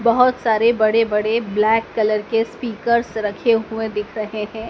बहोत सारे बड़े बड़े ब्लैक कलर के स्पीकर्स रखे हुए दिख रहे हैं।